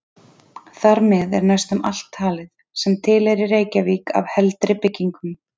Þar með er næstum alt talið, sem til er í Reykjavík af heldri byggingum.